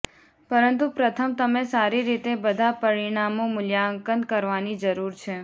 પરંતુ પ્રથમ તમે સારી રીતે બધા પરિણામો મૂલ્યાંકન કરવાની જરૂર છે